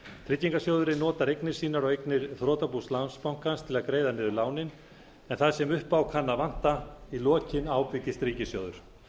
tryggingarsjóðurinn notar eignir sínar og eignir þrotabús landsbankans til að greiða niður lánin en það sem upp á kann að vanta í lokin ábyrgist ríkissjóður